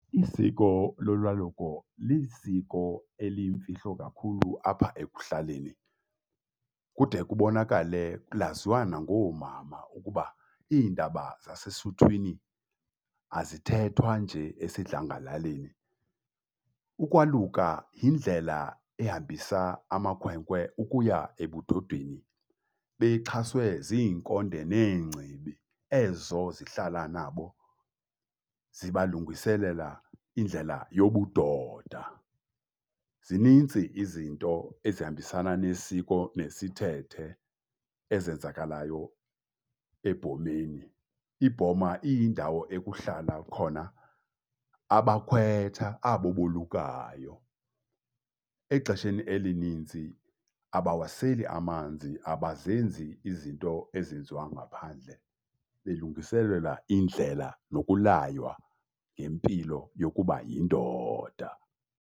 Isiko lolwaluko lisiko eliyimfihlo kakhulu apha ekuhlaleni, kude kubonakale laziwa nangoomama ukuba iindaba zasesuthwini azithethwa nje esidlangalaleni. Ukwaluka yindlela ehambisa amakhwenkwe ukuya ebudodeni bexhaswe ziinkonde neengcibi ezo zihlala nabo zibalungiselela indlela yobudoda. Zinintsi izinto ezihambisana nesiko nesithethe ezenzakalayo ebhomeni, ibhoma iyindawo ekuhlala khona abakhwetha abo bolukayo. Exesheni elinintsi abawaseli amanzi, abazenzi izinto ezenziwa ngaphandle belungiselelwa indlela nokulaywa ngempilo yokuba yindoda.